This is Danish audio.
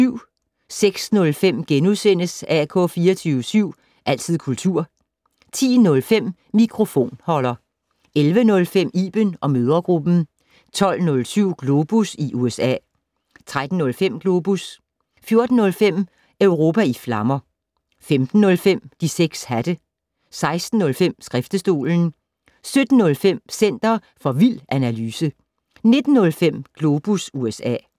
06:05: AK 24syv. Altid kultur * 10:05: Mikrofonholder 11:05: Iben & mødregruppen 12:07: Globus i USA 13:05: Globus 14:05: Europa i flammer 15:05: De 6 hatte 16:05: Skriftestolen 17:05: Center for vild analyse 19:05: Globus USA